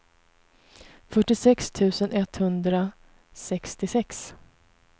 fyrtiosex tusen etthundrasextiosex